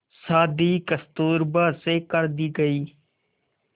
शादी कस्तूरबा से कर दी गई